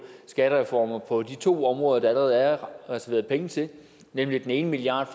skattereformer på de to områder der allerede er reserveret penge til nemlig den ene milliard